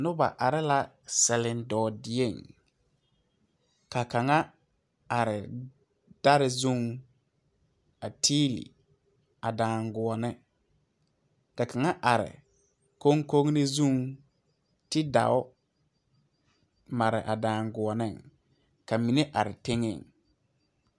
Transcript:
Noba are selindɔɔdieŋ ka kaŋa are dɛre zuŋ a tiili a daŋguoni ka kaŋa are koŋkori zuŋ ti dao mare a daŋguoni ka mine are teŋɛŋ.